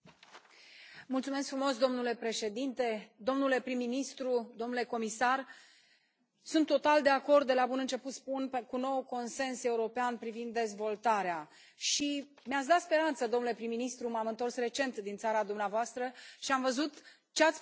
Domnule președinte, domnule prim ministru, domnule comisar, sunt total de acord, de la bun început spun, cu noul consens european privind dezvoltarea și mi ați dat speranță domnule prim ministru, m am întors recent din țara dumneavoastră și am văzut ce ați putut să faceți acolo.